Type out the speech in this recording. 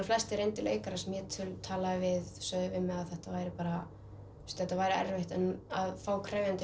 flestir reyndir leikarar sem ég talaði við sögðu að þetta væri þetta væri erfitt en að fá krefjandi